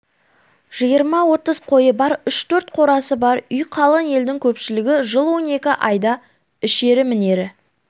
жиырма-отыз қойы бар үш-төрт қорасы бар үй қалың елдің көпшілігі жыл он екі айда ішері мінері